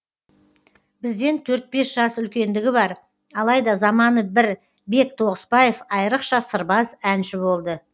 бізден төрт бес жас үлкендігі бар алайда заманы бір бек тоғысбаев айрықша сырбаз әнші болды